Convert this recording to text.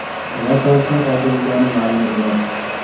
Nima sababdan qoldirilgani ma’lum emas.